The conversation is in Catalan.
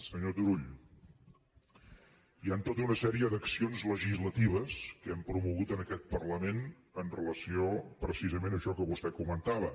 senyor turull hi han tota una sèrie d’accions legislatives que hem promogut en aquest parlament amb relació precisament a això que vostè comentava